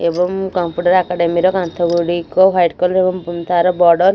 ଏବଂ computer academy ର କାନ୍ଥ ଗୁଡିକ ହ୍ୱାଇଟ କଲର ଏବଂ ତାର ବଡ଼ର ଏବଂ ସ --